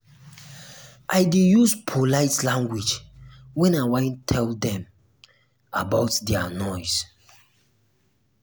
i dey use polite um language wen i wan tell dem about their noise.